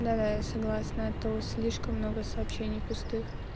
да да я согласна а то слишком много сообщений пустых